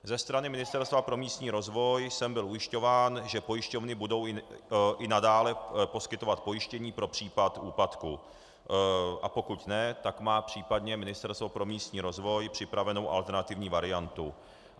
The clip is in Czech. Ze strany Ministerstva pro místní rozvoj jsem byl ujišťován, že pojišťovny budou i nadále poskytovat pojištění pro případ úpadku, a pokud ne, tak má případně Ministerstvo pro místní rozvoj připravenu alternativní variantu.